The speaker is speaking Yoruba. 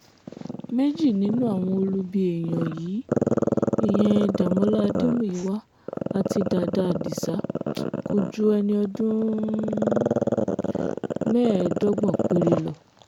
méjì nínú àwọn olubi èèyàn yìí ìyẹn dàmọ́là adémúyíwá àti dàdá adisa kò ju ẹni ọdún mẹ́ẹ̀ẹ́dọ́gbọ̀n péré lọ